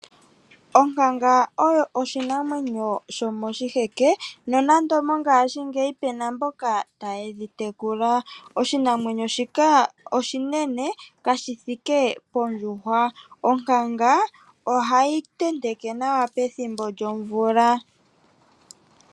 Onkanga oyo oshinamwenyo shomoshiheke nonando mongashingeyi pena mboka taye dhi tekula, oshinamwenyo shika oshinene kashithi iike pondjuhwa, onkanga ohayi tenteke nawa pethimbo lyomvula.